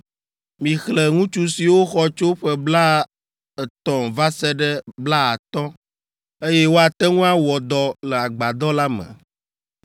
Mixlẽ ŋutsu siwo xɔ tso ƒe blaetɔ̃ va se ɖe blaatɔ̃, eye woate ŋu awɔ dɔ le Agbadɔ la me.